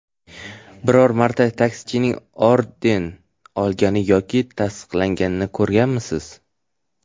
Biror marta taksichining orden olganini yoki taqdirlanganini ko‘rganmisiz?